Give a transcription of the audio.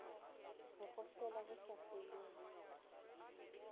ho kgohlela ho sa feleng